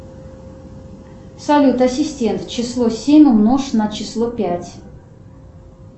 салют ассистент число семь умножь на число пять